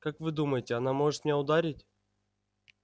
как вы думаете она может меня ударить